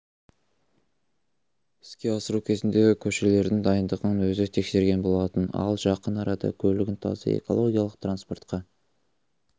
іске асыру кезінде көшелердің дайындығын өзі тексерген болатын ал жақын арада көлігін таза экологиялық транспортқа